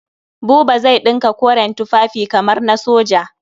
Buba zai ɗinka koren tufafi kamar na soja.